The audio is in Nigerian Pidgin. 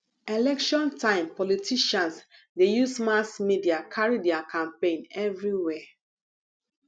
election time politicians dey use mass media carry their campaign everywhere